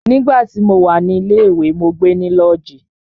Nígbà tí mo wà ní ilé ìwé, mó gbe ní lọ́ọ̀jí.